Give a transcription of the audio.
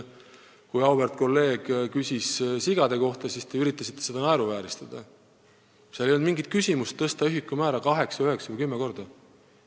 Kui auväärt kolleeg küsis sigade kohta, siis te üritasite seda naeruvääristada, aga seal ei olnud mingit küsimust tõsta ühikumäära kaheksa, üheksa või kümme korda.